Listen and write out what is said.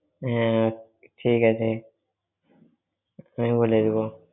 হ্যাঁ। ঠিক আছে। বলে দেব।